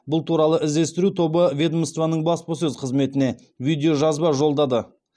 бұл туралы іздестіру тобы ведомствоның баспасөз қызметіне видеожазба жолдады